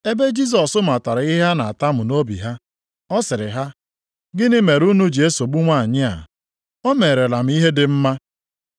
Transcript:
Ebe Jisọs matara ihe ha na-atamu nʼobi ha, ọ sịrị ha, “Gịnị mere unu ji esogbu nwanyị a? O merela m ihe dị mma.